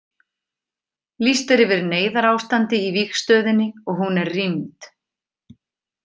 Lýst er yfir neyðarástandi í vígstöðinni og hún er rýmd.